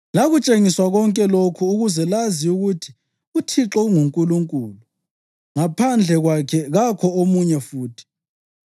Lakutshengiswa konke lokhu ukuze lazi ukuthi uThixo unguNkulunkulu; ngaphandle kwakhe kakho omunye futhi.